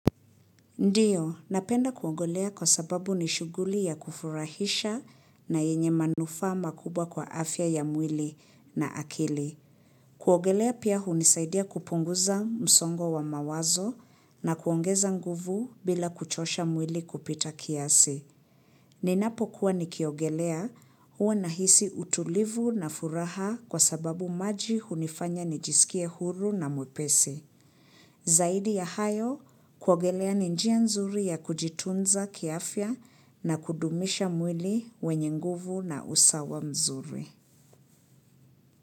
Ndiyo, napenda kuogelea kwa sababu ni shughuli ya kufurahisha na yenye manufaa makubwa kwa afya ya mwili na akili. Kuogelea pia hunisaidia kupunguza msongo wa mawazo na kuongeza nguvu bila kuchosha mwili kupita kiasi. Ninapo kuwa nikiogelea huwa nahisi utulivu na furaha kwa sababu maji hunifanya nijisikie huru na mwepesi. Zaidi ya hayo kuogelea ni njia nzuri ya kujitunza kiafya na kudumisha mwili wenye nguvu na usawa mzuri.